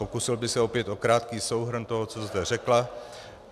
Pokusil bych se opět o krátký souhrn toho, co zde řekla.